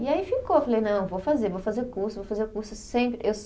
E aí ficou, eu falei, não, vou fazer, vou fazer o curso, vou fazer o curso sem, eu